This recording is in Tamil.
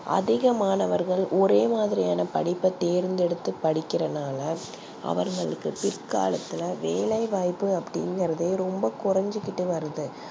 அதிக மாணவர்கள் ஒரே மாதிரியான படிப்பை தேர்தெடுத்து படிகர்த்து நாலா அவர்களுக்கு பிர்காலதுல வேலை வாய்ப்பு அப்டி இங்கருது கொரஞ்சிகிட்டே வருது